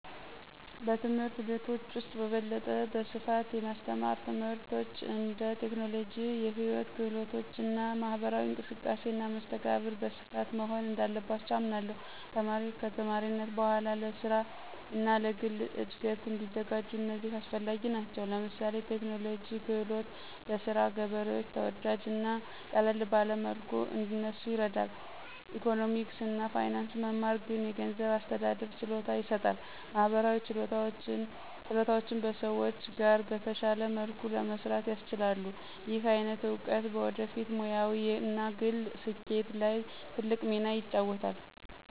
በትምህርት ቤቶች ውስጥ በበለጠ ስፋት የማስተማር ትምህርቶች እንደ ቴክኖሎጂ፣ ሕይወት ክህሎቶች እና ማህበራዊ እንቅስቃሴ እና መስተጋብር በስፋት መሆን እንዳለባቸው አምናለሁ። ተማሪዎች ከተማሪነት በኋላ ለስራ እና ለግል እድገት እንዲዘጋጁ እነዚህ አስፈላጊ ናቸው። ለምሳሌ ቴክኖሎጂ ክህሎት በስራ ገበሬዎች ተወዳጅ እና ቀለል ባለ መልኩ እንዲሰኑ ይረዳል፣ ኢኮኖሚክስ እና ፋይናንስ መማር ግን የገንዘብ አስተዳደር ችሎታ ይሰጣል፣ ማህበራዊ ችሎታዎችም በሰዎች ጋር በተሻለ መልኩ ለመስራት ያስችላሉ። ይህ አይነት እውቀት በወደፊት ሙያዊ እና ግል ስኬት ላይ ትልቅ ሚና ይጫወታል።